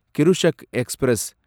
Krishak express